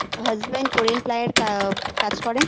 husband Korean ply -এর কা কাজ করে